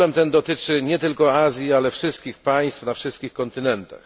Problem ten dotyczy nie tylko Azji, ale wszystkich państw na wszystkich kontynentach.